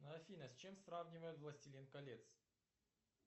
афина с чем сравнивают властелин колец